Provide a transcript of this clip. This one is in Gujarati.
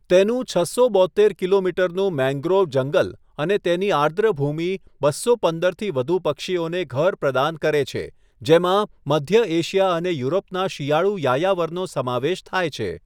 તેનું છસો બોત્તેર કિલોમીટરનું મેંગ્રોવ જંગલ અને તેની આર્દ્રભૂમિ બસો પંદરથી વધુ પક્ષીઓને ઘર પ્રદાન કરે છે, જેમાં મધ્ય એશિયા અને યુરોપના શિયાળું યાયાવરનો સમાવેશ થાય છે.